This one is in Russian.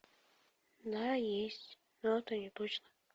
да есть но это не точно